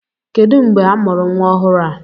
Kedụ mgbe amụrụ nwa ọhụrụ a!